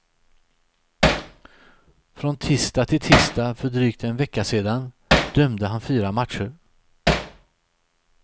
Från tisdag till tisdag för drygt en vecka sedan dömde han fyra matcher.